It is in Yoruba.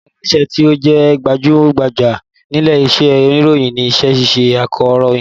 Ọkàn lára iṣẹ́ tí ó jẹ́ gbajú-gbajà nílé iṣẹ́ oníròyìn ni iṣẹ́ iṣẹ́ akọ̀rọ̀yìn